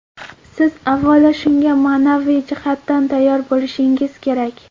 Siz, avvalo, shunga ma’naviy jihatdan tayyor bo‘lishingiz kerak.